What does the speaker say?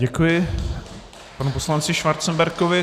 Děkuji panu poslanci Schwarzenbergovi.